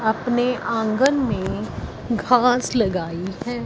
अपने आंगन में घास लगाई है।